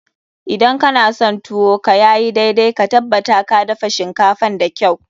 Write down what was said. Idan kana son tuwo ka ya yi daidai, ka tabbata ka dafa shinkafan da kyau.